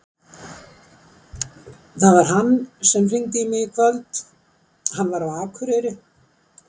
Það var hann sem hringdi í mig í kvöld. hann var á Akureyri.